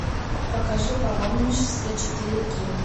покажи паломничество четыре кей